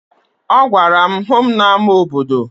Ọ gwara m, hụ m n'ama obodo!